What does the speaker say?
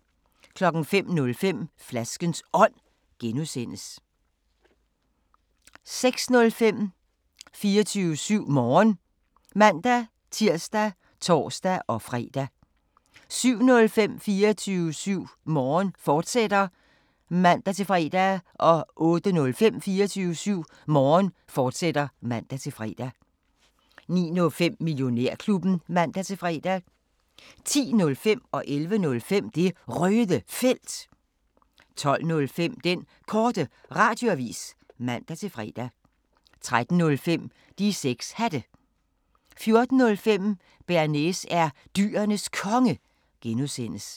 05:05: Flaskens Ånd (G) 06:05: 24syv Morgen (man-tir og tor-fre) 07:05: 24syv Morgen, fortsat (man-fre) 08:05: 24syv Morgen, fortsat (man-fre) 09:05: Millionærklubben (man-fre) 10:05: Det Røde Felt 11:05: Det Røde Felt 12:05: Den Korte Radioavis (man-fre) 13:05: De 6 Hatte 14:05: Bearnaise er Dyrenes Konge (G)